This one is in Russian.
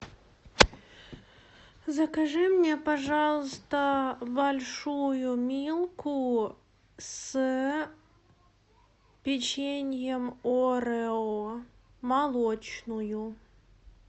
закажи мне пожалуйста большую милку с печеньем орео молочную